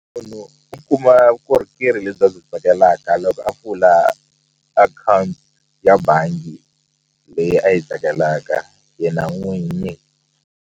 Munhu u kuma vukorhokeri lebyi a byi tsakelaka loko a pfula akhawunti ya bangi leyi a yi tsakelaka yena n'winyi.